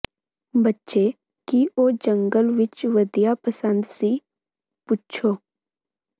ਬੱਚੇ ਕੀ ਉਹ ਜੰਗਲ ਵਿੱਚ ਵਧੀਆ ਪਸੰਦ ਸੀ ਪੁੱਛੋ